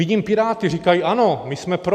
Vidím piráty, říkají: Ano, my jsme pro.